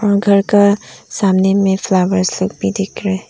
घर का सामने में फ्लावर्स लोग भी दिख रे।